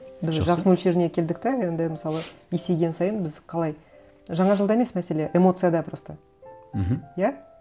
біз жас мөлшеріне келдік те енді мысалы есейген сайын біз қалай жаңа жылда емес мәселе эмоцияда просто мхм иә